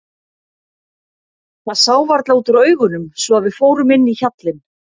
Það sá varla út úr augunum svo að við fórum inn í hjallinn.